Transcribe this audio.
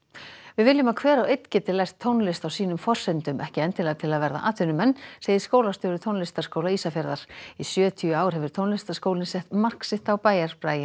við viljum að hver og einn geti lært tónlist á sínum forsendum ekki endilega til að verða atvinnumenn segir skólastjóri Tónlistarskóla Ísafjarðar í sjötíu ár hefur tónlistarskólinn sett mark sitt á bæjarbraginn